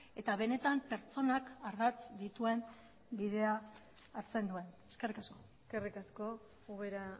eta benetan pertsonak ardatz dituen bidea hartzen duen eskerrik asko eskerrik asko ubera